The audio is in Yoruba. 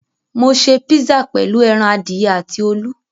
Mo ṣe písà pẹ̀lú ẹran adìyẹ àti olú.